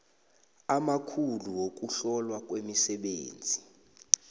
amakhulu wokuhlolwa kwemisebenzi